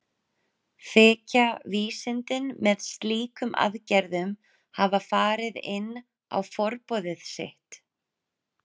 Þykja vísindin með slíkum aðgerðum hafa farið inn á forboðið svið.